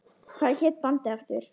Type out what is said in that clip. Hvað hét bandið aftur?